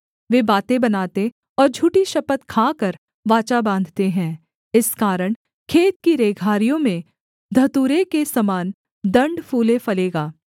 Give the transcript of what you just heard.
वे बातें बनाते और झूठी शपथ खाकर वाचा बाँधते हैं इस कारण खेत की रेघारियों में धतूरे के समान दण्ड फूले फलेगा